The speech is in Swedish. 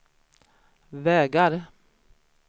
vägar